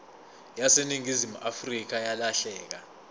yaseningizimu afrika yalahleka